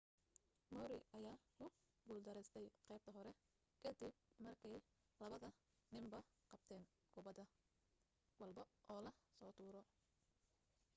murray ayaa ku guul dareystay qaybta hore ka dib markay labada ninba qabteen kubad walbo oo la soo tuuro